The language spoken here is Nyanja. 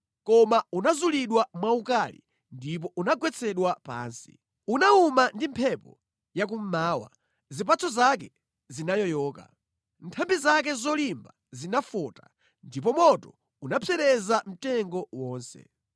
Koma unazulidwa mwaukali ndipo unagwetsedwa pansi. Unawuma ndi mphepo ya kummawa, zipatso zake zinayoyoka; nthambi zake zolimba zinafota ndipo moto unapsereza mtengo wonse.